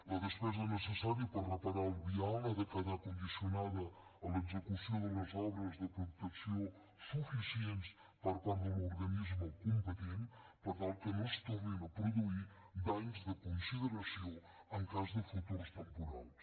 la despesa necessària per reparar el vial ha de quedar condicionada a l’execució de les obres de protecció suficients per part de l’organisme competent per tal que no es tornin a produir danys de consideració en cas de futurs temporals